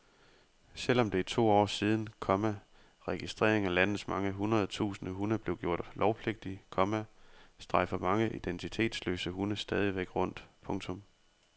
Selv om det er to år siden, komma registrering af landets mange hundrede tusinde hunde blev gjort lovpligtig, komma strejfer mange identitetsløse hunde stadigvæk rundt. punktum